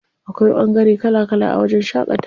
Akwai ɓangare kala kala a wajen shaƙatawa.